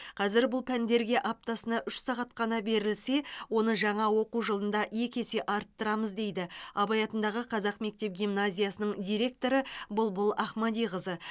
қазір бұл пәндерге аптасына үш сағат қана берілсе оны жаңа оқу жылында екі есе арттырамыз дейді абай атындағы қазақ мектеп гимназиясының директоры бұлбұл ахмадиқызы